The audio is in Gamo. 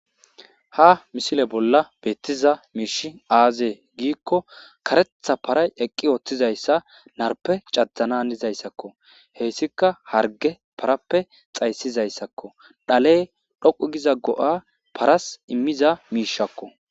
Ha misile bolla beettiza miishi aazee giikko karetha paray eqqi ooththizayssa narpe cajananizayssakko heyssika harge parappe xaysizayssakko dhaley dhoqu giza go7a paras immiza miishakko